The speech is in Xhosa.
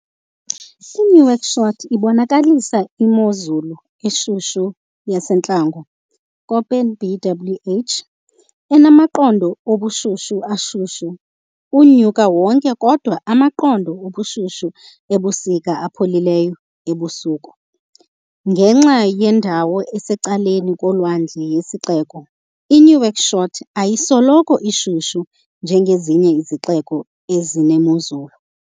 I-Nouakchott ibonakalisa imozulu eshushu yasentlango, Köppen- BWh, enamaqondo obushushu ashushu unyaka wonke kodwa amaqondo obushushu ebusika apholileyo ebusuku. Ngenxa yendawo esecaleni kolwandle yesixeko, iNouakchott ayisoloko ishushu njengezinye izixeko ezinemozulu.